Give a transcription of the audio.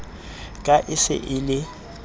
ka e se e le